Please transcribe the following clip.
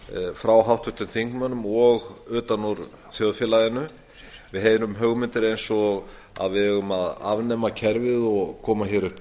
frá háttvirtum þingmönnum og utan úr þjóðfélaginu við heyrum hugmyndir eins og að við eigum að afnema kerfið og koma hér upp